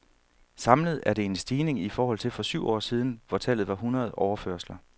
Samlet er det en stigning i forhold til for syv år siden , hvor tallet var hundrede overførsler.